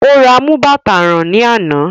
Ó ra amú bàtà rán ní àná